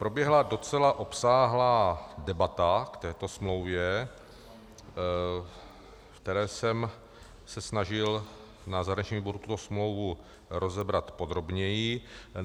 Proběhla docela obsáhlá debata k této smlouvě, ve které jsem se snažil na zahraničním výboru tuto smlouvu rozebrat podrobněji.